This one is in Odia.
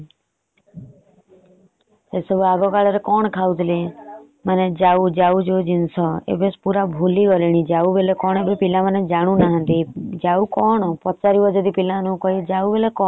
ଏସବୁ ଆଗ କାଳରେ କଣ ଖାଉଥିଲେ ଯାଉ ଯୋଉ ଜିନିଷ ଏବେ ସବୁ ଭୁଲି ଗଲେଣି ଯାଉ ବୋଲି କଣ ଜିନିଷଜାଣୁ ନାହାନ୍ତି। ଯାଉ କଣ ପଚାରିବ ପିଲା ମାନଙ୍କୁ ଯାଉ କଣ।